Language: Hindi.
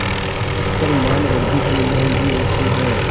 पर मानवृद्वि की महँगी वस्तु है